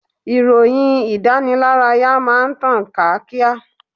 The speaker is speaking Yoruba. Ìròyìn ìdánilárayá máa ń tàn ká kíá.